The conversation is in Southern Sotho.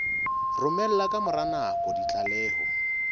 romela ka mora nako ditlaleho